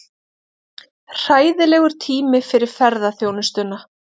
Hræðilegur tími fyrir ferðaþjónustuna